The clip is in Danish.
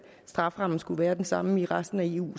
strafferammen skulle være den samme i resten af eu